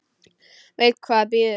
Veit hvað bíður.